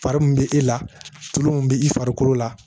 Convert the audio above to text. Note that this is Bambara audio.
Fari min bɛ e la tulon mun bɛ i farikolo la